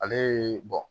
Ale ye